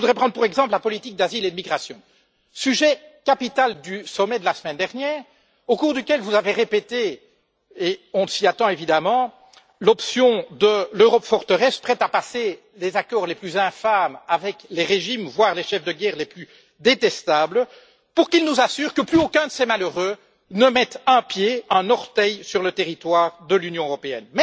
Je voudrais prendre pour exemple la politique d'asile et de migration, sujet capital du sommet de la semaine dernière, au cours duquel vous avez réaffirmé et on s'y attendait évidemment l'option de l'Europe forteresse, prête à passer les accords les plus infâmes avec les régimes, voire les chefs de guerre, les plus détestables, pour qu'ils nous assurent que plus aucun de ces malheureux ne mette un pied, un orteil sur le territoire de l'Union européenne.